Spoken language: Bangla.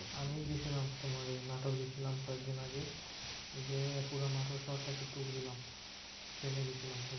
আমি গেছিলাম তোমার ওই নাটোর গেছিলাম কয়েকদিন আগে। যেয়ে পুরা নাটোর শহরটা কে tour দিলাম। ট্রেনে গেছিলাম।